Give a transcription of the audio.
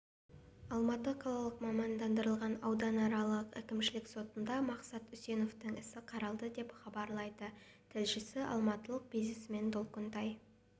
алматы қалалық мамандандырылған ауданаралық әкімшілік сотында мақсат үсеновтің ісі қаралды деп хабарлайды тілшісі алматылық бизнесмен долкунтай